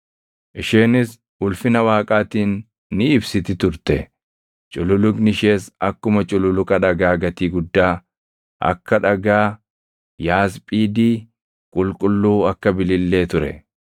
Isheenis ulfina Waaqaatiin ni ibsiti turte; cululuqni ishees akkuma cululuqa dhagaa gatii guddaa, akka dhagaa yaasphiidii qulqulluu akka bilillee ture.